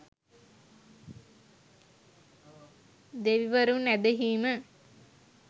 දෙවිවරුන් ඇදහීම